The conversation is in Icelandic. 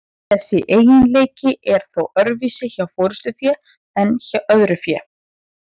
Þessi eiginleiki er þó öðruvísi hjá forystufé en öðru fé.